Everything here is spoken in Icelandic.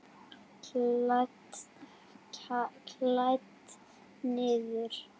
Kælt niður.